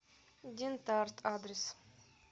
дентарт адрес